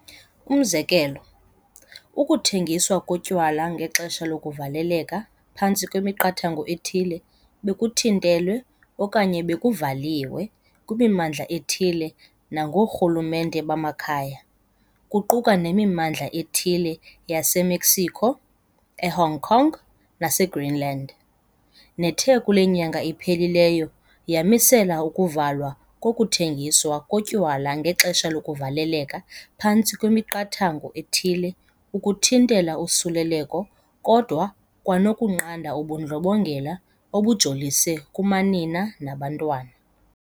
Umzekelo, ukuthengiswa kotywala ngexesha lokuvaleleka phantsi kwemiqathango ethile bekuthintelwe okanye bekuvaliwe kwimimmandla ethile nango orhulumente bamakhaya, kuquka nemimmandla ethile yase-Mexico, e-Hong Kong nase-Greenland, nethe kule nyanga iphelileyo yamisela ukuvalwa kokuthengiswa kotywala ngexesha lokuvaleleka phantsi kwemiqathango ethile ukuthintela usuleleko kodwa 'kwanokunqanda ubundlobongela obujolise kumanina nabantwana.'